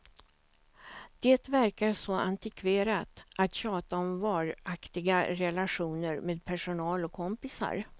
Det verkar så antikverat att tjata om varaktiga relationer med personal och kompisar.